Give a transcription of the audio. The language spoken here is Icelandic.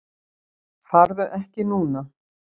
Farðu ekki núna!